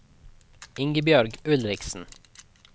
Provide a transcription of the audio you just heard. Ingebjørg Ulriksen